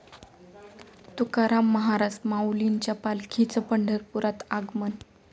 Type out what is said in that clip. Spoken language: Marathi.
तुकाराम महाराज, माऊलींच्या पालखीचं पंढरपुरात आगमन